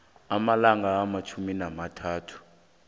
amalanga amatjhumi amathathu